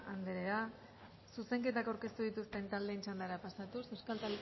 anderea zuzenketak aurkeztu dituzten taldeen txandara pasatuz